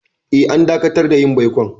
Eh, an dakatar da yin baikon.